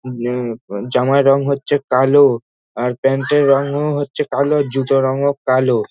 জামায় রং হচ্ছে কালো আর প্যান্ট এর রংও হচ্ছে কালো আর জুতোর রংও কালো ।